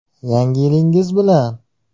Yangi yilingiz bilan!